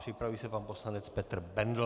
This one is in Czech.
Připraví se pan poslanec Petr Bendl.